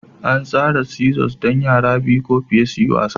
An tsara seesaws don yara biyu ko fiye su yi wasa